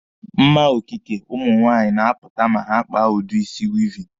Mma okike ụmụ nwaanyị na-apụta ma ha kpaa udi isi wịịvịn.